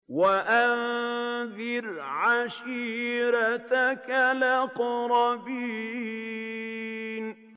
وَأَنذِرْ عَشِيرَتَكَ الْأَقْرَبِينَ